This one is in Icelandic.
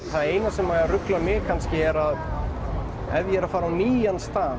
það eina sem ruglar mig kannski er ef ég er að fara á nýjan stað